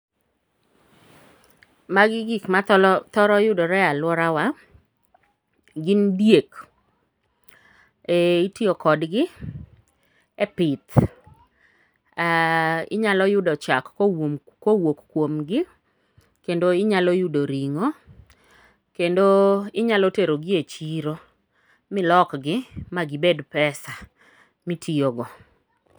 Magi gik mathoro yudore alworawa, gin diek, itiyo kodgi e pith, inyalo yudo chak kowuok kuomgi, kendo inyalo yudo ring'o, kendo inyalo terogi e chiro milokgi magibed pesa mitiyogo.